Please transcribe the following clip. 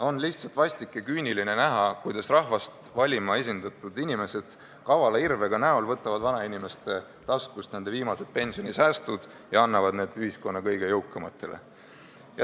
On lihtsalt vastik näha, kuidas rahvast esindama valitud inimesed, kaval irve näol, võtavad vanainimeste taskust küüniliselt nende viimased pensionisäästud ja annavad need ühiskonna kõige jõukamatele.